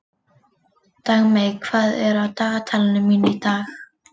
Dagmey, hvað er á dagatalinu mínu í dag?